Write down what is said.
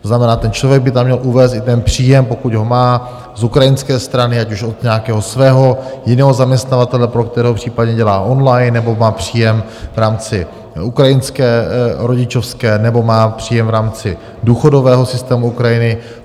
To znamená, ten člověk by tam měl uvést i příjem, pokud ho má z ukrajinské strany, ať už od nějakého svého jiného zaměstnavatele, pro kterého případně dělá on-line, nebo má příjem v rámci ukrajinské rodičovské, nebo má příjem v rámci důchodového systému Ukrajiny.